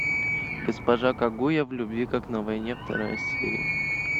госпожа кагуя в любви как на войне вторая серия